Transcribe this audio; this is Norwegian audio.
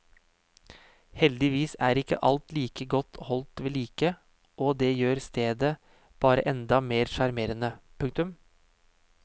Heldigvis er ikke alt like godt holdt vedlike og det gjør stedet bare enda mer sjarmerende. punktum